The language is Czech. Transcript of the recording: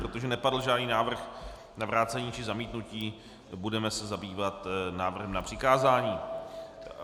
Protože nepadl žádný návrh na vrácení či zamítnutí, budeme se zabývat návrhem na přikázání.